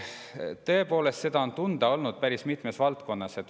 Tõepoolest, seda on tunda olnud päris mitmes valdkonnas.